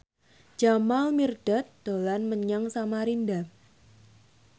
Jamal Mirdad dolan menyang Samarinda